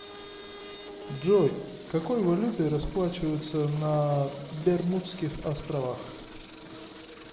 джой какой валютой расплачиваются на бермудских островах